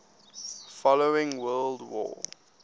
following world war